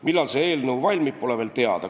Millal see eelnõu valmib, pole veel teada.